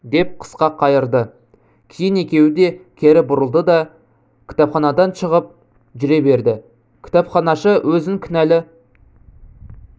деп қысқа қайырды кейін екеуі де кері бұрылды да кітапханадан шығып жүре берді кітапханашы өзін кінәлі